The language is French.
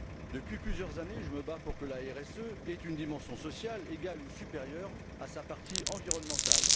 Depuis plusieurs années, je me bats pour que la RSE ait une dimension sociale égale ou supérieure à son volet environnemental.